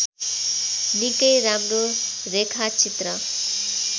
निकै राम्रो रेखाचित्र